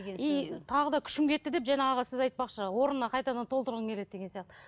и тағы да күшім кетті деп жаңағы сіз айтпақшы орнына қайтадан толтырғым келеді деген сияқты